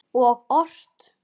Og ort.